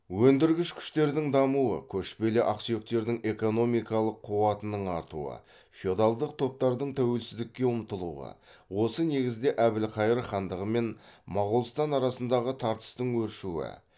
өндіргіш күштердің дамуы көшпелі ақсүйектердің экономикалық қуатының артуы феодалдық топтардың тәуелсіздікке ұмтылуы осы негізде әбілхайыр хандығы мен моғолстан арасындағы тартыстың өршуі